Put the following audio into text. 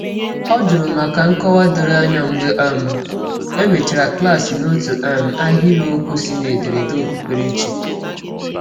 Ọ juru maka nkọwa doro anya mgbe um e mechara klaasị n'otu um ahịrịokwu si n'ederede okpukperechi.